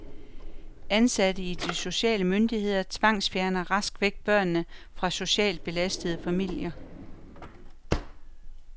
Ansatte i de sociale myndigheder tvangsfjerner rask væk børnene fra socialt belastede familier.